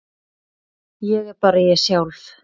Ég er bara ég sjálf.